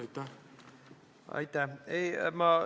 Aitäh!